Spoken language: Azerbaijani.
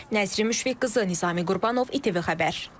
Nəzrin Müşfiq qızı Nizami Qurbanov, ITV Xəbər.